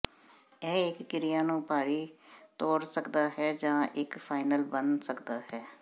ਇਹ ਇੱਕ ਕਿਰਿਆ ਨੂੰ ਭਾਰੀ ਤੋੜ ਸਕਦਾ ਹੈ ਜਾਂ ਇੱਕ ਫਾਈਨਲ ਬਣ ਸਕਦਾ ਹੈ